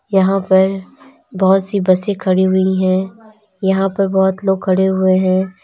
यहां पर बहोत सी बसें खड़ी हुई हैं यहां पर बहोत लोग खड़े हुए हैं।